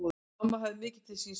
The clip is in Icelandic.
Mamma hafði mikið til síns máls.